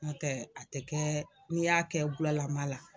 Nɔtɛ a tɛ kɛɛ n'i y'a kɛ bulalama la